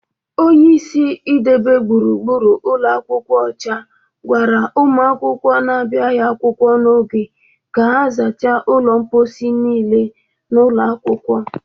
Onyeisi idebe gbụrugbụru ụlọ akwụkwọ ọcha gwara ụmụ akwụkwọ na-abịaghị akwụkwọ n'oge ka ha sacha ụlọ mpọsị niile n'ụlọ akwụkwọ